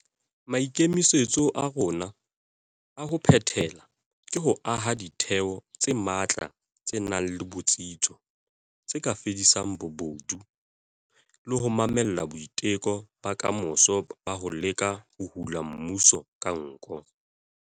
Maikemisetso a rona a ho phethela ke ho aha ditheo tse matla tse nang le botsitso tse ka fedisang bobodu le ho mamella boiteko ba kamoso ba ho leka ho hula mmuso ka nko.